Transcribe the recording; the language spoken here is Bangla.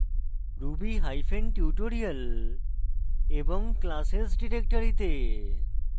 ruby hyphen tutorial এবং classes directory to